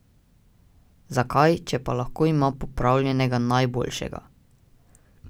Zakaj, če pa lahko ima popravljenega najboljšega?